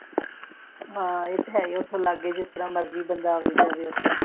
ਹਾਂ ਇਹ ਤਾਂ ਹੈ ਹੀ ਓਥੇ ਲਾਗੇ ਜੇ ਜਿਹੜਾ ਮਰਜ਼ੀ ਬੰਦਾ ਆਵੇ ਜਾਵੇ